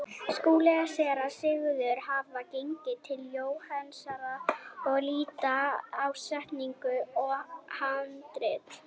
Skúli og Séra Sigurður hafa gengið til Jóhannesar og líta á setningu og handrit.